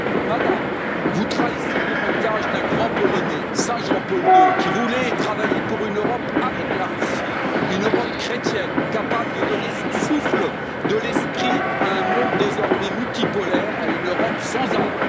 Madame, vous trahissez l'héritage d'un grand Polonais, Saint Jean Paul II, qui voulait travailler pour une Europe avec la Russie, une Europe chrétienne, capable de donner son souffle de l'esprit à un monde désormais multipolaire, à une Europe sans âme.